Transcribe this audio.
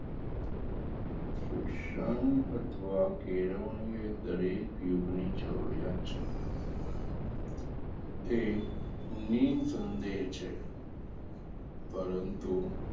શિક્ષણ અથવા કેળવણી એ દરેક યુગની જરૂરીયાત છે એ નિસંદેહ છે પરંતુ,